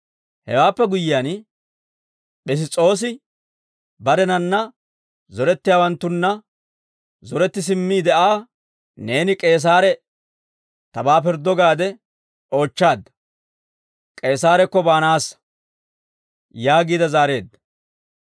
Hewaappe guyyiyaan, Piss's'oosi barenanna zorettiyaawanttunna zoretti simmiide Aa, «Neeni K'eesaare tabaa pirddo gaade oochchaadda; K'eesaarakko baanaassa» yaagiide zaareedda.